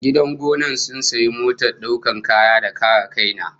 Gidan gonan sun sayo motar daukar kaya da karakaina